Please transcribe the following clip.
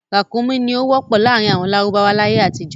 Ràkúnmí ni ó wọ́pọ̀ láàrin àwọn lárúbáwá láyé àtijọ́.